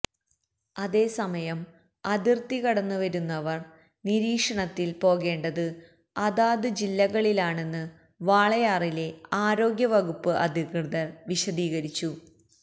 അതേസമയം അതിർത്തി കടന്ന് വരുന്നവർ നിരീക്ഷണത്തിൽ പോകേണ്ടത് അതാത് ജില്ലകളിലാണെന്ന് വാളയാറിലെ ആരോഗ്യ വകുപ്പ് അധികൃതർ വിശദീകരിച്ചു